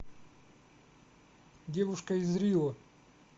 девушка из рио